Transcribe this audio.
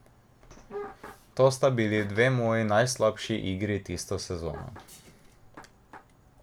To sta bili dve moji najslabši igri tisto sezono.